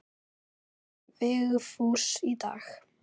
Svarar Vigfús í dag?